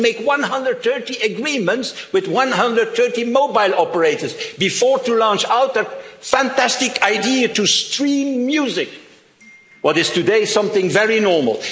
Union. They had to make 130 agreements with 130 mobile operators before launching the fantastic idea of streaming music, which today is something very